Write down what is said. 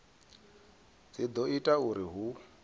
dzi do ita uri hu